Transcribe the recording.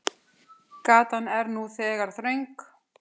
Gatan er nú þegar þröng.